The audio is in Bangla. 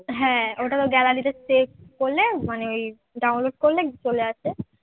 হ্যাঁ, ওটা তো gallery তে save করলে মানে ওই download করলে চলে আসে